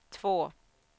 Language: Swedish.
två